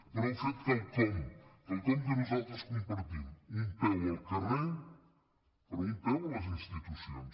però heu fet quelcom quelcom que nosaltres compar·tim un peu al carrer però un peu a les institucions